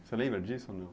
Você lembra disso ou não?